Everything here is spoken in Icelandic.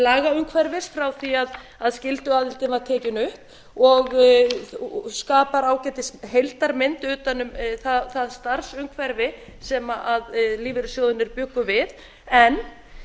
lagaumhverfis frá því að skylduaðildin var tekin upp og skapar ágætis heildarmynd utan um það starfsumhverfi sem lífeyrissjóðirnir bjuggu við en